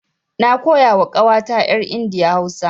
Na koya wa ƙawata yar India Hausa.